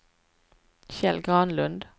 Kjell Granlund